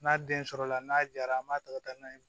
N'a den sɔrɔla n'a jara an b'a ta ka taa n'a ye